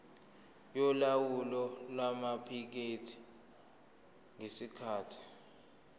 yolawulo lwamaphikethi ngesikhathi